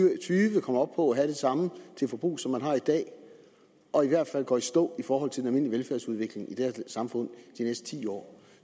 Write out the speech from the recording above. og tyve kommer op på at have det samme til forbrug som man har i dag og i hvert fald går i stå i forhold til den almindelige velfærdsudvikling i det her samfund de næste ti år